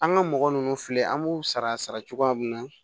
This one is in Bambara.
An ka mɔgɔ ninnu filɛ an b'u sara sara cogoya min na